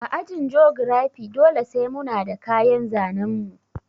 A ajin jogirafi dole sai muna da kayan zanen mu